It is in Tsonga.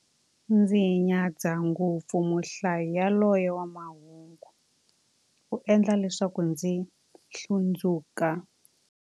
Ndzi nyadza ngopfu muhlayi yaloye wa mahungu, u endla leswaku ndzi hlundzuka.